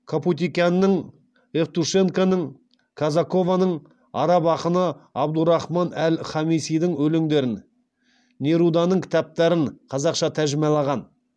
капутикянның евтушенконың казакованың араб ақыны әбдурахман әл хамисидің өлеңдерін неруданың кітаптарын қазақша тәржімалаған